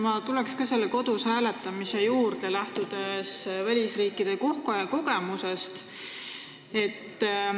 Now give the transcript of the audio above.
Ma tulen ka selle kodus hääletamise juurde, lähtudes välisriikide kogemusest.